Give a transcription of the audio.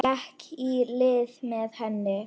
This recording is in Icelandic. Gekk í lið með henni.